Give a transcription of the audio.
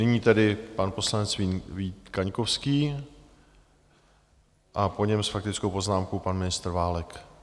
Nyní tedy pan poslanec Vít Kaňkovský a po něm s faktickou poznámkou pan ministr Válek.